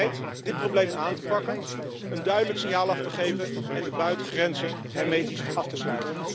Is Finland bereid dit probleem aan te pakken, een duidelijk signaal af te geven en de buitengrenzen hermetisch af te sluiten?